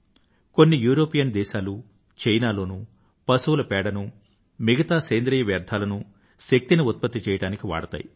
కొన్ని యూరోపియన్ దేశాలూ చైనా లోనూ పశువుల పేడనూ మిగితా సేంద్రీయ వ్యర్థాలనూ శక్తిని ఉత్పత్తి చెయ్యడానికి వాడతాయి